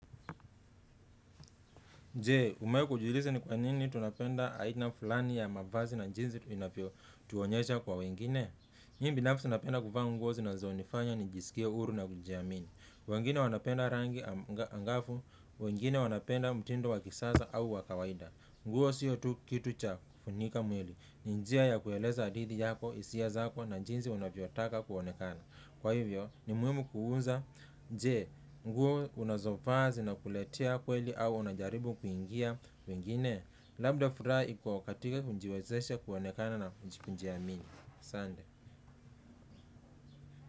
Je, umewahi kujiuliza ni kwa nini tunapenda aina fulani ya mavazi na jinsi tunavyojionyesha kwa wengine? Mimi binafsi napenda kuvaa nguo zinazonifanya nijisikie huru na kujiamini. Wengine wanapenda rangi angavu, wengine wanapenda mtindo wa kisasa au wa kawaida nguo sio tu kitu cha kufunika mwili. Ni njia ya kueleza hadithi yako, hisia zako na jinsi unavyotaka kuonekana. Kwa hivyo, ni muhimu kujiuliza, je, nguo unazovaa zinakuletea faraja kweli au unajaribu kuwaigiza wengine? Labda furaha iko katika kujiwezesha kuonekana na kujiamini. Asante.